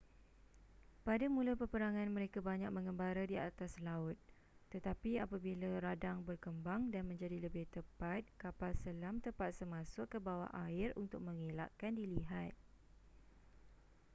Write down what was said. pada mula peperangan mereka banyak menggembara di atas laut tetapi apabila radar berkembang dan menjadi lebih tepat kapal selam terpaksa masuk ke bawah air untuk mengelakkan dilihat